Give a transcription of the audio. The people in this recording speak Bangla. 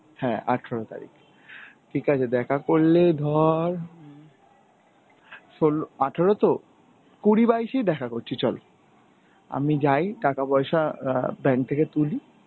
হ্যাঁ আঠেরো তারিখ. ঠিক আছে দেখা করলে ধর শোল~ আঠেরো তো কুড়ি বাইশেই দেখা করছি চল, আমি যাই টাকা পয়সা অ্যাঁ bank থেকে তুলি